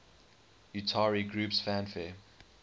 utari groups fanfare